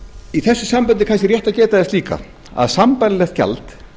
í þessu sambandi er kannski rétt að geta þess líka að sambærilegt gjald